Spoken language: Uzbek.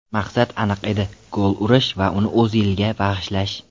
Maqsad aniq edi: gol urish va uni O‘zilga bag‘ishlash.